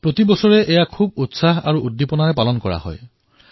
প্ৰত্যেক বৰ্ষত ইয়াক অতি উৎসাহেৰে পালন কৰা হয়